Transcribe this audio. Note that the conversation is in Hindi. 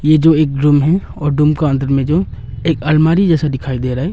ये जो एक डूम है और डूम का अंदर में जो एक अलमारी जैसा दिखाई दे रहा है।